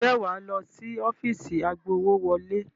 Ǹjẹ́ wà á lọ sí ọ́fíìsì agbowówọlé?